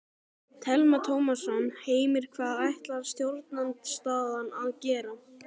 Telma Tómasson: Heimir hvað ætlar stjórnarandstaðan að gera?